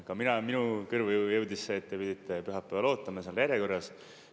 Ka mina olen, minu kõrvu jõudis see, et te pidite pühapäeval ootama seal järjekorras.